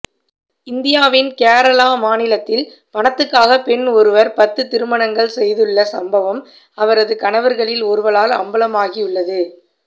இந்தியாவின் கேரளா மாநிலத்தில் பணத்துக்காக பெண் ஒருவர் பத்து திருமணங்கள் செய்துள்ள சம்பவம் அவரது கணவர்களில் ஒருவரால் அம்பலமாகியுள்ளது